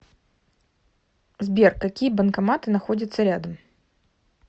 сбер какие банкоматы находятся рядом